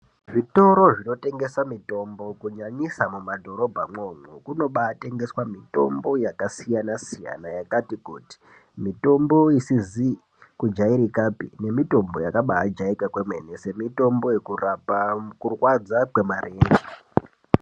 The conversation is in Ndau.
Zvitoro zvinotengesa mitombo kunyanyisa mumadhorobha mwo umwomwo kunoba atengeswa mitombo yakasiyana siyana yakati kuti, mitombo isizi kujairikapi nemitombo yakaba ajairika kwemene, ngemitombo yekurapa kurwadza kwemarenje.